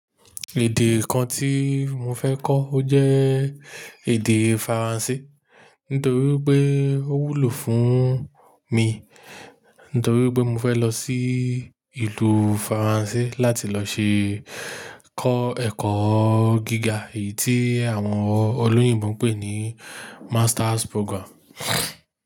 Èdè kan tí mo fẹ́ kọ́ ó jẹ́? Èdè Faransé nítorí pé ó wúlò fún mi, nítorí pé mo fẹ́ lọ sí ìlú Faransé láti lọ ṣe kọ́ ẹ̀kọ́ gíga èyí tí àwọn olóyìnbo pè ní Masters Program.